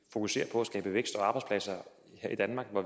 fokusere på at skabe vækst og arbejdspladser her i danmark